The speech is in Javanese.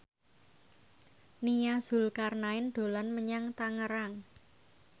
Nia Zulkarnaen dolan menyang Tangerang